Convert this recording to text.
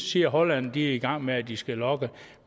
siger at holland er i gang med at de skal logge